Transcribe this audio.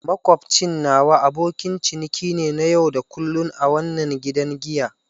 Makwabcin nawa abokin ciniki ne na yau da kullun a wannan gidan giya.